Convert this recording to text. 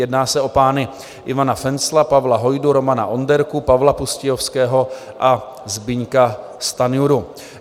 Jedná se o pány Ivana Fencla, Pavla Hojdu, Romana Onderku, Pavla Pustějovského a Zbyňka Stanjuru.